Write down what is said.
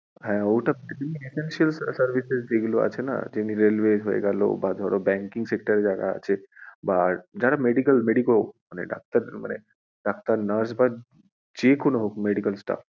হ্যাঁ ওটা service এ যেগুলো আছেনা যেমনি railway হয়ে গেলো বা ধরো বা যারা banking sector এ আছে বা যারা medical medico মানে ডাক্তার মানে ডাক্তার nurse বা যেকোনো হোক medical staff